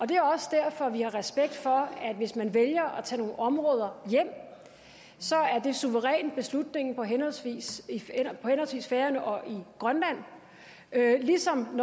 det er også derfor vi har respekt for at det hvis man vælger at tage nogle områder hjem så suverænt er beslutningen på henholdsvis færøerne og i grønland ligesom at